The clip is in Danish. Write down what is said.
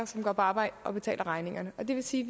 som går på arbejde og betaler regningerne og det vil sige